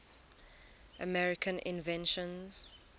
american inventions